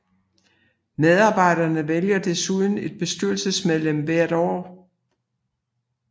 Medarbejderne vælger desuden et bestyrelsesmedlem hvert år